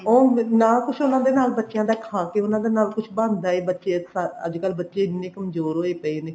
ਉਹ ਨਾ ਕੁੱਝ ਉਹਨਾ ਦੇ ਨਾਲ ਕੁੱਝ ਖਾ ਕੇ ਉਹਨਾ ਦੇ ਨਾਲ ਬੱਚਿਆਂ ਦਾ ਕੁੱਝ ਬੱਚੇ ਅੱਜਕਲ ਬੱਚੇ ਬੜੇ ਕਮਜੋਰ ਹੋਏ ਪਏ ਨੇ